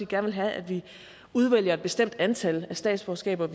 gerne vil have at vi udvælger et bestemt antal statsborgerskaber